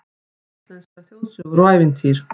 Íslenskar þjóðsögur og ævintýr